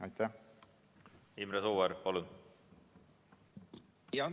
Imre Sooäär, palun!